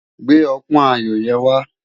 Gbé òpòn áyó yèn wá